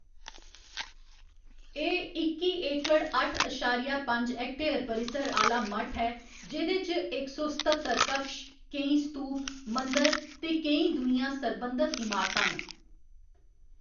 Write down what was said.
एह्‌‌ इक्की एकड़, अट्ठ अशारिया पंज हेक्टेयर परिसर आह्‌‌‌ला मठ ऐ जेह्‌‌‌दे च इक सौ सत्ततर कक्ष, केईं स्तूप, मंदर ते केईं दूइयां सरबंधत इमारतां न।